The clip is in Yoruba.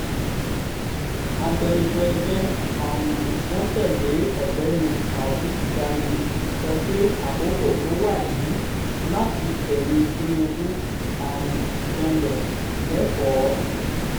agbẹnusọ ẹgbẹ́ um wọn tẹ̀lé ọ̀gbẹ́ni taofik gani sọ pé àkókò tó wàyí láti fẹ̀yìn tinubu um janlẹ̀ lẹ́kọ̀ọ́